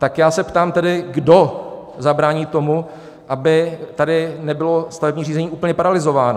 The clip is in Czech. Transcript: Tak já se tedy ptám, kdo zabrání tomu, aby tady nebylo stavební řízení úplně paralyzováno.